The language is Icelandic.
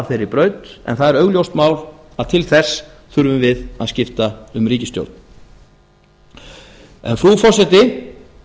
þeirri braut en það er augljóst mál að til þess þurfum við að skipta um ríkisstjórn frú forseti